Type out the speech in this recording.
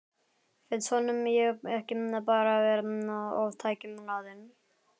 Finnst honum ég ekki bara vera of tækjum hlaðin?